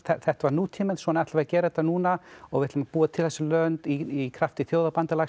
þetta var nútíminn svona ætlum við að gera þetta núna og við ætlum að búa til þessi lönd í krafti